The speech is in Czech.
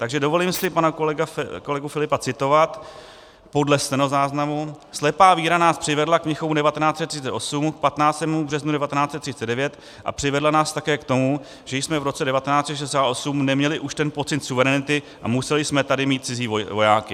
Takže dovolím si pana kolegu Filipa citovat podle stenozáznamu: "Slepá víra nás přivedla k Mnichovu 1938, k 15. březnu 1939 a přivedla nás také k tomu, že jsme v roce 1968 neměli už ten pocit suverenity a museli jsme tady mít cizí vojáky."